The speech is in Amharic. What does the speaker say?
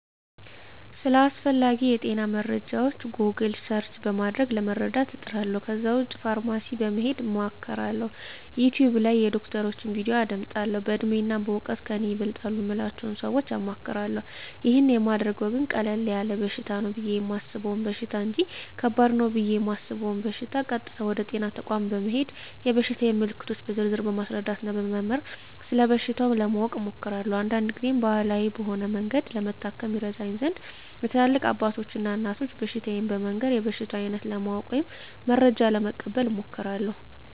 ስለ አስፈላጌ የጤና መረጃወች "ጎግል" ሰርች" በማድረግ ለመረዳት እጥራለሁ ከዛ ውጭ ፋርማሲ በመሄድ አማክራለሁ፣ "ዩቲውብ" ላይ የዶክተሮችን "ቪዲዮ" አዳምጣለሁ፣ በእድሜና በእውቀት ከኔ ይበልጣሉ ምላቸውን ሰወች አማክራለሁ። ይህን ማደርገው ግን ቀለል ያለ በሽታ ነው ብየ የማሰበውን በሽታ እንጅ ከባድ ነው ብየ እማስበውን በሸታ ቀጥታ ወደ ጤና ተቋም በመሄድ የበሽታየን ምልክቶች በዝርዝር በማስረዳትና በመመርመር ስለበሽታው ለማወቅ እሞክራለሁ። አንዳንድ ግዜም ባህላዊ በሆነ መንገድ ለመታከም ይረዳኝ ዘንድ ለትላልቅ አባቶች እና እናቶች በሽታየን በመንገር የበሽታውን አይነት ለማወቅ ወይም መረጃ ለመቀበል እሞክራለሁ።